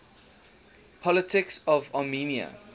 politics of armenia